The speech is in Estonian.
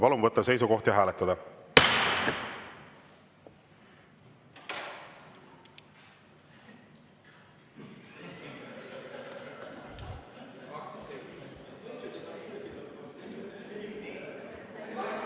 Palun võtta seisukoht ja hääletada!